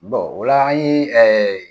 ola an ɲe